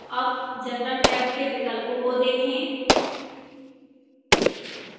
अब general tab के विकल्पों को देखें